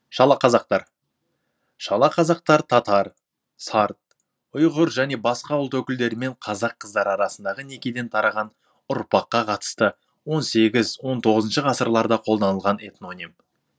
шалақазақтар шала қазақтар татар сарт ұйғыр және басқа ұлт өкілдері мен қазақ қыздары арасындағы некеден тараған ұрпаққа қатысты он сегіз он тоғызыншы ғасырларда қолданылған этноним